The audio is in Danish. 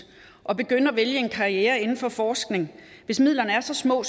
at begynde at vælge en karriere inden for forskning hvis midlerne er så små